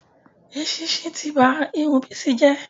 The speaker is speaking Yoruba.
Èsísí ti ba Irun Bisi jẹ́